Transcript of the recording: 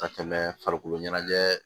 Ka tɛmɛ farikolo ɲɛnajɛ